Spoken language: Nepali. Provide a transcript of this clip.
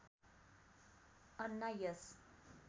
अन्ना यस